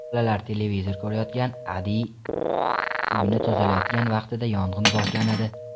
Bolalar televizor ko‘rayotgan, Adiy uyni tozalayotgan vaqtida yong‘in boshlanadi.